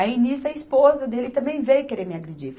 Aí, nisso, a esposa dele também veio querer me agredir.